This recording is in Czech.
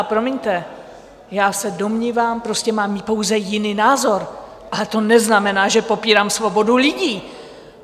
A promiňte, já se domnívám, prostě mám pouze jiný názor, ale to neznamená, že popírám svobodu lidí!